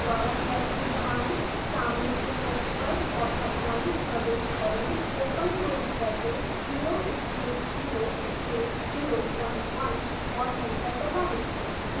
दोबारा tab की key दबाएं सामने के पृष्ट पर चौथा पॉइंट प्रविष्ट करेंओपन क्लोज़ ब्रैकेट 0 space 0 space 01 और एंटर दबाएं